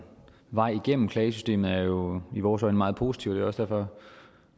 vej igennem klagesystemet er jo i vores øjne meget positivt og også derfor